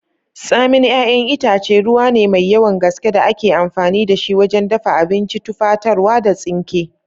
Tsamin 'yayan itace, ruwa ne mai yawan gaske da ake amfani da shi wajen dafa abinci, tufatarwa, da tsinke.